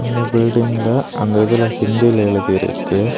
இந்த பில்டிங்கில்ல அந்த இதுல ஹிந்தில எழுதி இருக்கு.